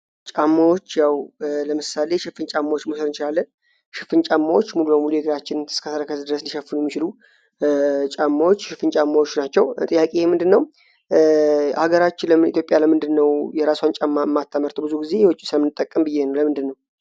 ለምሳሌ ሽፍን ጫማዎች ሙሉጌታ ጫማዎች ፍንጫቸው ጥያቄ ምንድነው አገራችን ለኢትዮጵያ ለምንድነው የራሷን ጫማ የማታምርተዉ? ብዙ ጊዜ የዉጭ ነዉ የምንጠቀም